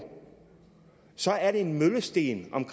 så er det en møllesten om